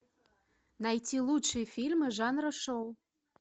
найти лучшие фильмы жанра шоу